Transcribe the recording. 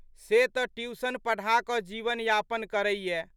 से तऽ ट्यूसन पढ़ाकऽ जीवनयापन करैये।